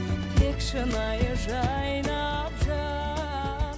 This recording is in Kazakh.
тек шынайы жайнап